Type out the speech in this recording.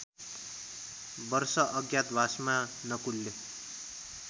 वर्ष अज्ञातवासमा नकुलले